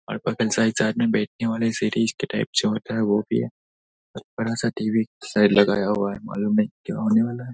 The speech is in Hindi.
वाले सीरिज के टाइप से होते हैं वो भी है। बहुत बड़ा सा टी.वी. साइड लगाया हुआ है मालूम नही क्या होने वाला है।